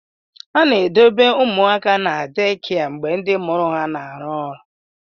A na-edobe ụmụaka na deekia mgbe ndị mụrụ ha na-arụ ọrụ.